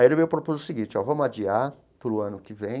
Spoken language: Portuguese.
Aí ele veio e propôs o seguinte, ó, vamos adiar para o ano que vem,